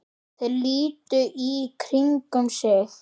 Þeir litu í kringum sig.